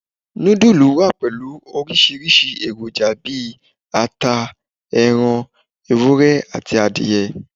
Nudulú wá pẹlu orisirisi èròjà bí àtá, erán ewúrẹ́, àti adìye.